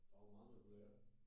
Der var meget man kunne lære